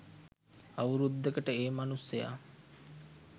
අවුරුද්දකට ඒ මනුස්සයා